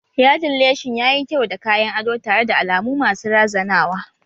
Yaɗin leshin yayi kyau da kayan ado tare da alamu masu razanawa